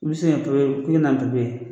I be se ka papiye i be na ni papiye